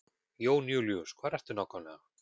Jón Júlíus, hvar ertu nákvæmlega?